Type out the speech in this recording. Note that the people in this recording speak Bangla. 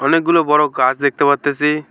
অনেকগুলো বড় গাছ দেখতে পারতেছি।